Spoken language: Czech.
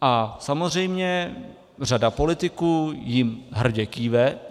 A samozřejmě řada politiků jim hrdě kýve.